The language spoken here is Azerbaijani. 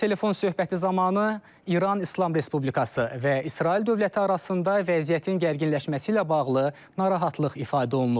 Telefon söhbəti zamanı İran İslam Respublikası və İsrail dövləti arasında vəziyyətin gərginləşməsi ilə bağlı narahatlıq ifadə olunub.